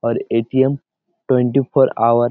R A .T .M twenty four hour.